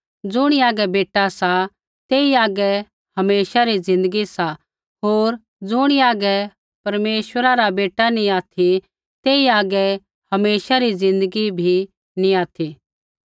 ज़ुणी हागै बेटा सा तेई हागै हमेशा री ज़िन्दगी सा होर ज़ुणी हागै परमेश्वरा रा बेटा नैंई ऑथि तेई हागै हमेशा री ज़िन्दगी भी नैंई ऑथि